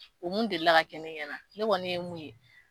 O mun delila ka kɛ ne ɲɛna ne kɔni ye mun ye